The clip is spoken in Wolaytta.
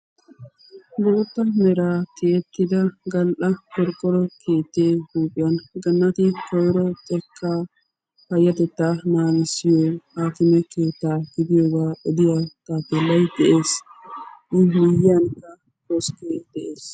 Bootta meraa tiyettida gal"a qorqoro keettee huuphphiyaan ganate koyro xekkaa payatettaa naagissiyoo haakime keettaa gidiyoogaa odiyaa taapelay de'ees. a miyiyaan koskkee de'ees.